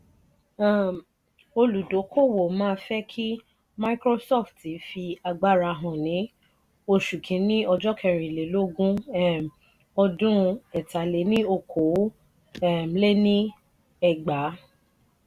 um olúdókòwò má fe ki microsofti fi agbára hàn ní oṣù kini ojo kerin lè lógún um ọdún ẹ̀ta-lé-ní-okòó um lé ní ẹgbàá.